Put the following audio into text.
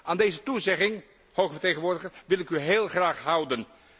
Aan deze toezegging, hoge vertegenwoordiger, wil ik u heel graag houden.